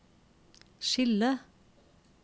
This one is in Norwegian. skille